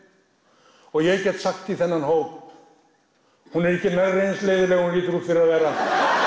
og ég get sagt í þennan hóp hún er ekki nærri því eins leiðinleg og hún lítur út fyrir að vera